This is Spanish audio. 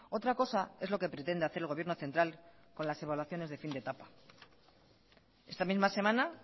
otra cosa es lo que pretende hacer el gobierno central con las evaluaciones de fin de etapa esta misma semana